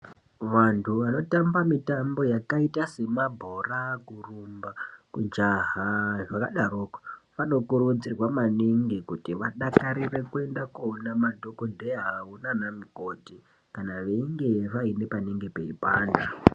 Vantu vanotamba mitambo yakaita semabhora, kurumba, kujaha zvakadaroko, vano kurudzirwa maningi kuti vadakarire kuenda kunoona madhogodheya avo nanamukoti kana veinge vaine parikupanda.